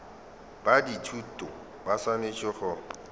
ba dithuto ba swanetše go